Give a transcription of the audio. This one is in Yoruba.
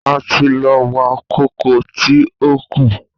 A ti lọ wá kókò tí ó kù.